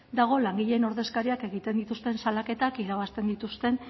dago langileen ordezkariak egiten dituzten salaketak irabazten dituzten